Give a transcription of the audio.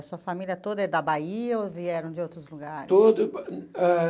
A sua família toda é da Bahia ou vieram de outros lugares? Todo ah...